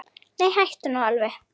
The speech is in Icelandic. Nei, hættu nú alveg.